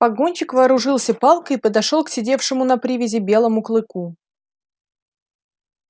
погонщик вооружился палкой и подошёл к сидевшему на привязи белому клыку